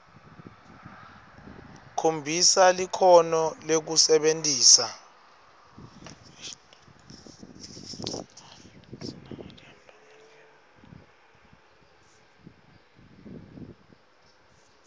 khombisa likhono lekusebentisa